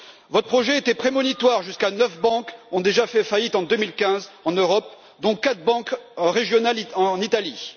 Votre projet était prémonitoire puisque neuf banques ont déjà fait faillite en 2015 en Europe, dont quatre banques régionales en Italie.